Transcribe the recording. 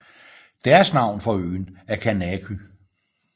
Deres navn for øen er Kanaky